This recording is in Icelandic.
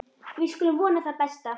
Við skulum vona það besta.